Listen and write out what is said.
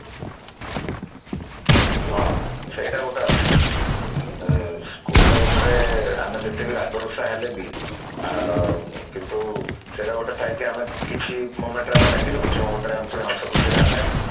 ହଁ ସେଇଟା ଗୋଟେ ଅଛି ହୁଁ school life ରେ ଆମେ ଯେତିକି ରାଗ ରୁଷା ହେଲେ ବି ସେଇଟା ଗୋଟେ ଥାଏ କି କିଛି moment ରେ ଆମେ ଲାଗିଲେ କିଛି moment ରେ ଆମେ ପୁଣି ହସ ଖୁସି ହବା ଆମେ